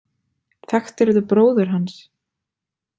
Þekktirðu bróður hans?